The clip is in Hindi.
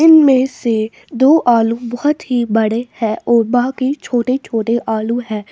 इनमें से दो आलू बोहोत ही बड़े है और बाकी छोटे-छोटे आलू हैं।